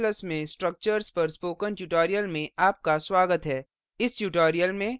c और c ++ में structures structures पर spoken tutorial में आपका स्वागत है